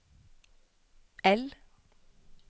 I